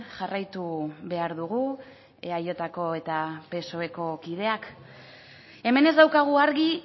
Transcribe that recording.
jarraitu behar dugu eajko eta psoeko kideak hemen ez daukagu argi